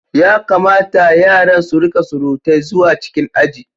Ya kamata yaran su rika surutai zuwa cikin aji.